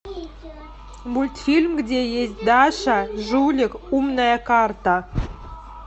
мультфильм где есть даша жулик умная карта